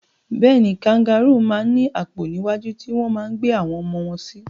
Bẹ́ẹ̀ni, kangarúù máa ń ní àpò níwájú tí wọ́n máa ń gbé àwọn ọmọ wọn sí.